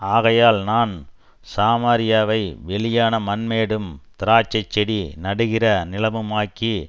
ஆகையால் நான் சாமாரியாவை வெளியான மண்மேடும் திராட்ச செடி நடுகிற நிலமுமாக்கி